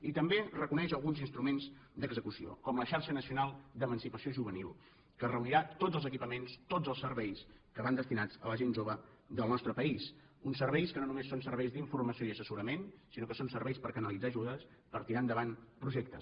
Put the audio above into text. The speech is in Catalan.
i també reconeix alguns instruments d’execució com la xarxa nacional d’emancipació juvenil que reunirà tots els equipaments tots els serveis que van destinats a la gent jove del nostre país uns serveis que no només són serveis d’informació i assessorament sinó que són serveis per canalitzar ajudes per tirar endavant projectes